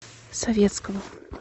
советского